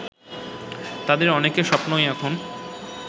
তাদের অনেকের স্বপ্নই এখন